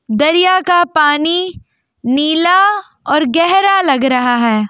दरिया का पानी नीला और गहरा लग रहा है।